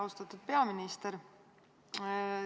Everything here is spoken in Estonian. Austatud peaminister!